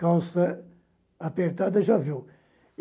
Calça apertada, já viu.